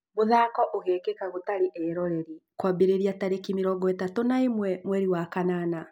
Mũthako ũgekĩka gũtarĩ eroreri kwambĩrĩria tarĩki mĩrongo ĩtatũ na ĩmwe mwerĩ wa kanana